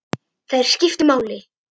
Þær skiptu máli.